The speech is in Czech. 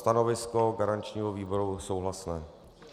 Stanovisko garančního výboru souhlasné.